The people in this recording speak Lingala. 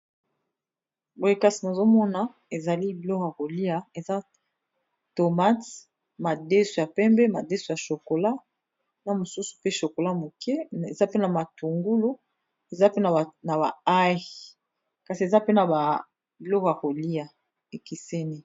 Boye kasi nazo mona ezali biloko ya kolia, eza tomate, madeso ya pembe, madeso ya chocolat na mosusu pe chocolat moke . Eza pe na matungulu na ba haye kasi eza pe na biloko ya kolia, e keseni .